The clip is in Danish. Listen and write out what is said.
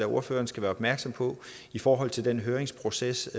ordføreren skal være opmærksom på i forhold til den høringsproces